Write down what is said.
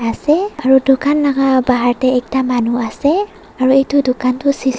ase aro dukan laga bahar tey ekta manu asey aro etu dukan toh cc--